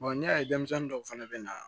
n'i y'a ye denmisɛnnin dɔw fana bɛ na